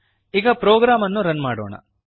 ಈಗ ಪ್ರೋಗ್ರಾಮ್ ಅನ್ನು ರನ್ ಮಾಡೋಣ